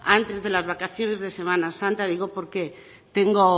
antes de las vacaciones de semana santa digo porque tengo